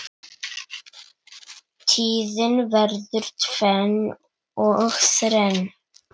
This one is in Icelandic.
Tíðin verður tvenn og þrenn.